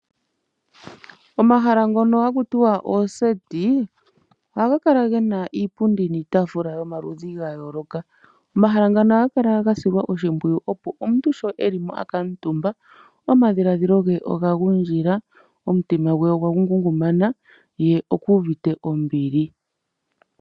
Omahala ngono haku tiwa ooseti ohamu kala mu na iipundi niitaafula yomaludhi ga yooloka. Omahala ngono ohaga kala ga silwa nawa oshimpwiyu, opo omuntu sho e li mo a kuutumba omadhiladhilo ge oga gundjila, omutima gwe ogwa ngungumana ye oku uvite ombili.